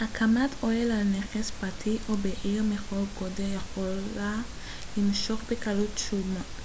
הקמת אוהל על נכס פרטי או בעיר מכל גודל יכולה למשוך בקלות